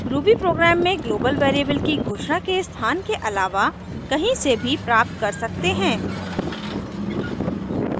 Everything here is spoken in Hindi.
ruby प्रोग्राम में ग्लोबल वेरिएबल की घोषणा के स्थान के अलावा कहीं से भी प्राप्त कर सकते हैं